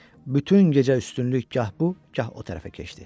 Bütün gecə üstünlük gah bu, gah o tərəfə keçdi.